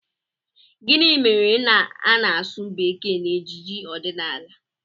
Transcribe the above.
Gịnị mere na a na-asụ bekee n'ejije ọdịnala?